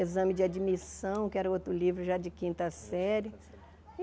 Exame de admissão, que era outro livro já de quinta série.